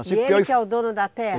E ele que é o dono da terra?